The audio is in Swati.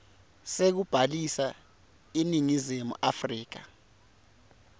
sekubhalisa eningizimu afrika